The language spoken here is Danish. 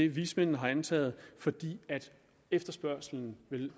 vismændene har antaget fordi efterspørgslen